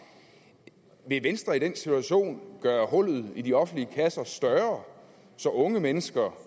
vil venstre i den situation gøre hullet i de offentlige kasser større så unge mennesker